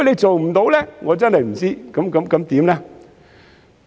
做不到的話，我真的不知會怎樣。